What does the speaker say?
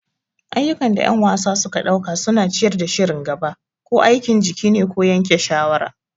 Ayyukan da ƴan wasa suka ɗauka suna ciyar da shirin gaba. Ko aikin jiki ne ko yanke shawara.